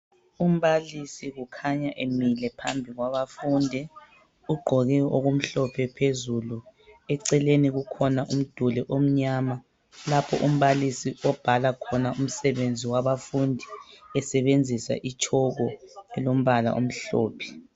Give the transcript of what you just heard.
Umbalisi kukhanya emile phambi kwabafundi. Ugqoke okumhlophe phezulu eceleni kukhona umduli omnyama lapho umbalisi obhala khona umssbenzi wabafundi esebenzisa itshoko elombala omhlophe.